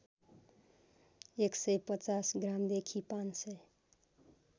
१५० ग्रामदेखि ५००